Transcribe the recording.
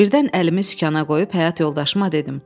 Birdən əlimi sükana qoyub həyat yoldaşıma dedim.